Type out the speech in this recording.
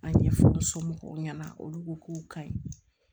A ɲɛfɔ somɔgɔw ɲɛna olu ko k'u ka ɲi